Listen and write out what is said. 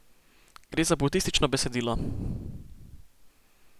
Gre za budistično besedilo.